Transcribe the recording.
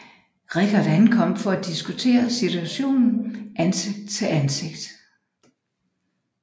Richard ankom for at diskutere situationen ansigt til ansigt